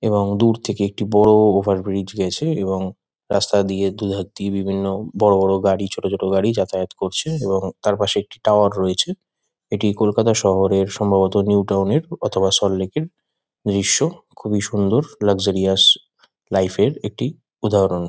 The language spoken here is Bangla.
এবং দূর থেকে একটি বড়-অ ওভার ব্রিজ গেছে এবং রাস্তা দিয়ে দুধার দিয়ে বিভিন্ন বড় বড় গাড়ি ছোট ছোট গাড়ি যাতায়াত করছে এবং তারপাশে একটি টাওয়ার রয়েছে। এটি কলকাতা শহরের সম্ভবত নিউ টাউন -এর অথবা সল্ট লেক -এর দৃশ্য। খুবই সুন্দর লাক্সারিয়াস লাইফ -এর একটি উদাহরণ।